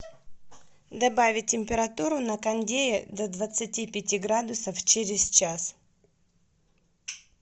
добавить температуру на кондее до двадцати пяти градусов через час